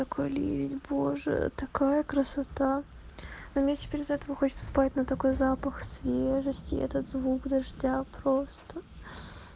такой ливень боже такая красота ну мне теперь из-за этого хочется спать но такой запах свежести этот звук дождя просто